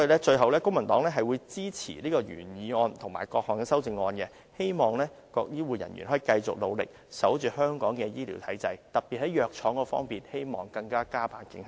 最後，公民黨支持原議案和各項修正案，希望各醫護人員可以繼續努力，守護香港的醫療體制，特別是在藥廠方面，希望可以加把勁。